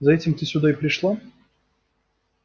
за этим ты сюда и пришла